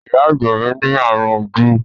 Ìyá àgbà mi ní ààrùn ojú.